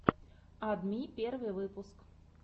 ад ми первый выпуск